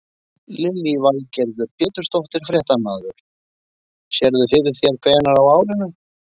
Lillý Valgerður Pétursdóttir, fréttamaður: Sérðu fyrir þér hvenær á árinu?